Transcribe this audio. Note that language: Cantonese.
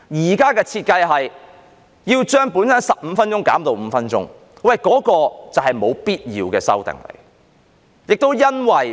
現時的設計是把本身的15分鐘減至5分鐘，這便是沒有必要的修訂。